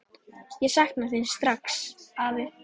Ég sakna þín strax, afi.